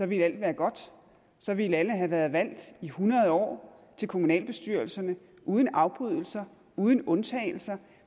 ville alt være godt så ville alle have været valgt i hundrede år til kommunalbestyrelserne uden afbrydelser uden undtagelser og